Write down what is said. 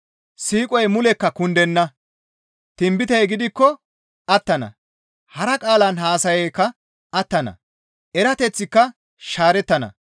Siiqoy mulekka kundenna; tinbitey gidikko attana; hara qaalan haasayaykka attana; erateththika shaarettana.